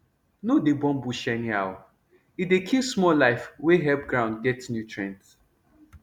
no dey burn bush anyhow e dey kill small life wey help ground get nutrient